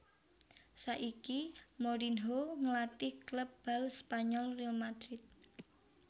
Saiki Mourinho ngelatih klub bal Spanyol Real Madrid